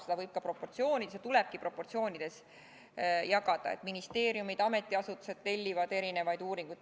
Seda võib ja tulebki proportsioonides jagada, st ministeeriumid ja ametiasutused tellivad erinevaid uuringuid.